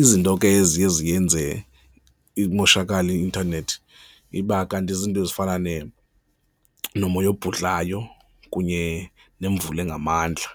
Izinto ke eziye ziyenze imoshakale i-intanethi iba kanti zizinto ezifana nomoya ebhudlayo kunye nemvula engamandla